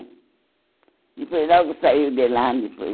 Depois logo saiu de lá,